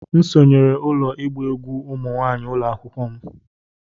M sonyeere ụlọ ịgba egwú ụmụ nwanyị ụlọ akwụkwọ m